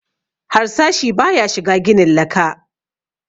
Harsashi ba ya shiga ginin laka